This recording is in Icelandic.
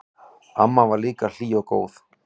Amma var líka hlý og góð.